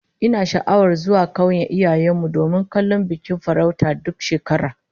Ina sha'awar zuwa kauyen iyayen mu domin kallon bikin farauta duk shekara